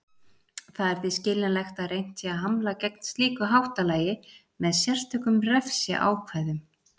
Það er því skiljanlegt að reynt sé að hamla gegn slíku háttalagi með sérstökum refsiákvæðum.